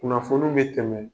Kunnafoniw be tɛmɛ